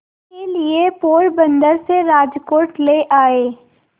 के लिए पोरबंदर से राजकोट ले आए